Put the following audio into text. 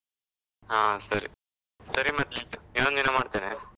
ಹಾ ಸರಿ, ಸರಿ ಮತ್ತ್ ಇನ್ನೊಂದ್ದಿನ ಮಾಡ್ತೆನೆ.